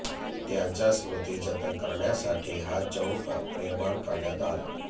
त्यांच्या स्मृती जतन करण्यासाठी हा चौक निर्माण करण्यात आला